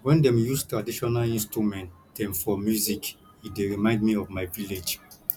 wen dem use traditional instrument dem for music e dey remind me of my village